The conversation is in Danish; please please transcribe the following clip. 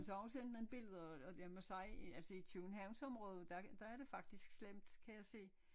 Og så har hun sendt nogle billeder og jeg må sige altså i Københavnsområdet der er det der er det faktisk slemt kan jeg se